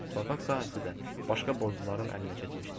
Torpaq sahəsi də başqa borcluların əlinə keçmişdi.